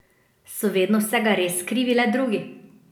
So vedno vsega res krivi le drugi?